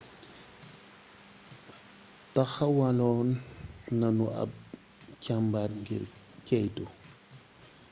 taxawaloon nanu ab càmbar ngir ceytu